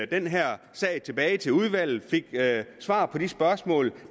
den her sag tilbage til udvalget fik svar på de spørgsmål